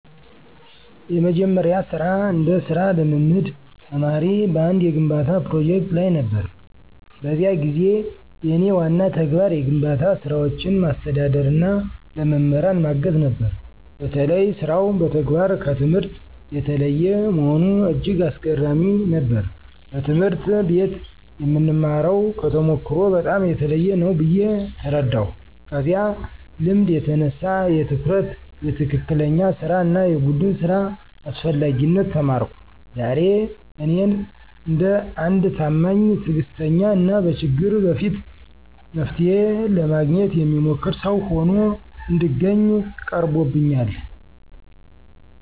የመጀመሪያዬ ስራ እንደ ሥራ ልምምድ ተማሪ በአንድ የግንባታ ፕሮጀክት ላይ ነበር። በዚያ ጊዜ የእኔ ዋና ተግባር የግንባታ ስራዎችን ማስተዳደርና ለመምህራን ማገዝ ነበር። በተለይ ሥራው በተግባር ከትምህርት የተለየ መሆኑ እጅግ አስገራሚ ነበር፤ በትምህርት ቤት የምንማርው ከተሞክሮ በጣም የተለየ ነው ብዬ ተረዳሁ። ከዚያ ልምድ የተነሳ የትኩረት፣ የትክክለኛ ሥራ እና የቡድን ሥራ አስፈላጊነት ተማርኩ። ዛሬ እኔን እንደ አንድ ታማኝ፣ ትዕግስተኛ እና በችግር በፊት መፍትሔ ለማግኘት የሚሞክር ሰው ሆኖ እንድገኝ ቀርቦብኛል።